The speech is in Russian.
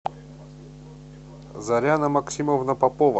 заряна максимовна попова